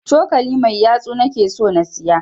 Cokali mai yatsu na ke so na siya